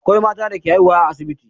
Akwai mata da ke haihuwa a asibiti.